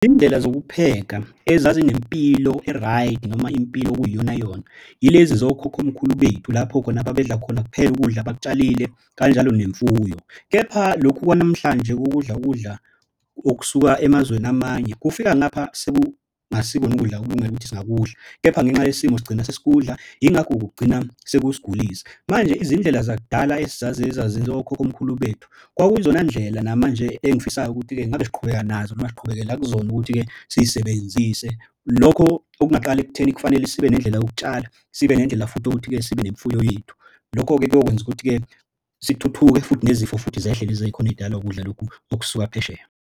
Iy'ndlela zokupheka ezazi nempilo e-right noma impilo okuyiyonayona yilezi zokhokhomkhulu bethu, lapho khona babedla khona kuphela ukudla abakutshalile kanjalo nemfuyo. Kepha lokhu kwanamhlanje kukudla kudla okusuka emazweni amanye kufika ngapha sekungasikoni ukudla okulungele ukuthi singakudla. Kepha ngenxa yesimo sigcina sesikudla yingakho kugcina sekusigulisa. Manje izindlela zakudala esizaziyo ezazenziwa okhokhomkhulu bethu kwakuzona ndlela namanje engifisayo ukuthi-ke ngabe siqhubeka nazo noma siqhubekela kuzona ukuthi-ke sisebenzise. Lokho okungaqala ekutheni kufanele sibe nendlela yokutshala, sibe nendlela futhi ukuthi-ke sibe nemfuyo yethu. Lokho-ke kuyokwenza ukuthi-ke sithuthuke futhi nezifo futhi zehle lezi ey'khona ey'dalwa ukudla lokhu okusuka phesheya.